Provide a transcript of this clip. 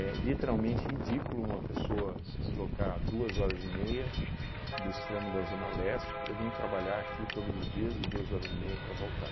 literalmente ridículo uma pessoa se deslocar duas horas e meia do extremo da zona leste para vim trabalhar aqui todos os dias e duas horas e meia para voltar.